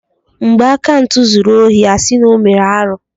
Mgbe Akantụ zuru ohi a sị na ọ mere arụ́.